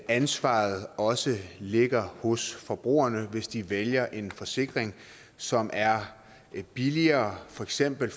ansvaret også ligger hos forbrugerne for hvis de vælger en forsikring som er billigere for eksempel